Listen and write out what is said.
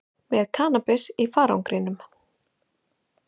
Með kannabis í farangrinum